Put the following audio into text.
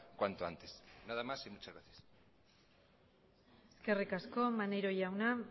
cuanto antes nada más y muchas gracias eskerrik asko maneiro jauna